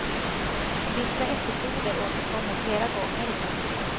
Vissa episoder återkommer flera gånger i texterna.